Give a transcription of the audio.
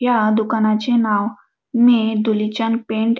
या दुकानाचे नाव मे धुलीचंद पेंट --